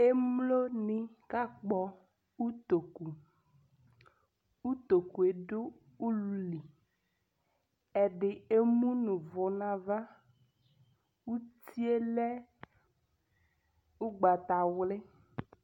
Emloni akpɔ utoku Utoku yɛ dʋ ululi, ɛdɩ emuʋ ʋvʋ n'ava, uti yɛ lɛ ʋgbatawlɩ